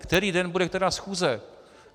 Který den bude která schůze!